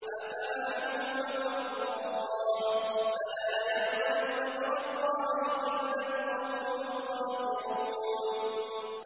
أَفَأَمِنُوا مَكْرَ اللَّهِ ۚ فَلَا يَأْمَنُ مَكْرَ اللَّهِ إِلَّا الْقَوْمُ الْخَاسِرُونَ